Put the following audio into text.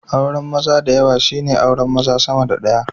Auran maza dayawa shine auran maza sama da daya